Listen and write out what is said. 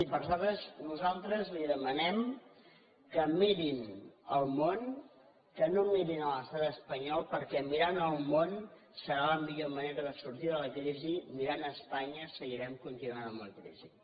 i per això nosaltres li demanem que mirin el món que no mirin l’estat espanyol perquè mirant el món serà la millor manera de sortir de la crisi mirant espanya seguirem continuant amb la crisi